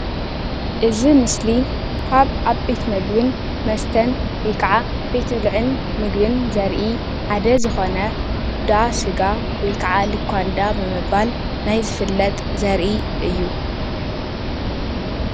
እዚ ምስሊ ካብ ዓበይቲ ምግብን መስተን ወይ ከዓ ቤት ብልዕን ምግብን ዘርኢ ሓደ ዝኾነ እንዳ ስጋ ወይ ከዓ ሉካንዳ ብምባል ናይ ዝፈለጥ ዘርኢ እዩ፡፡